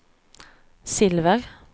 silver